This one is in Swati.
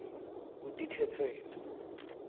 kutikhetsela